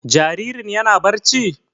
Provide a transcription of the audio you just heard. Jaririn yana barci?